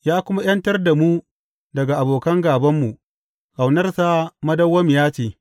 Ya kuma ’yantar da mu daga abokan gābanmu, Ƙaunarsa madawwamiya ce.